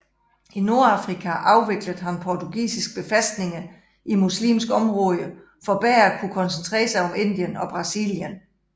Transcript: I Nordafrika afviklede han portugisiske befæstninger i muslimske områder for bedre at kunne koncentrere sig om Indien og Brasilien